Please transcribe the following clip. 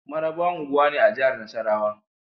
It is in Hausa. Mararaba unguwa ne a jahar Nasarrawa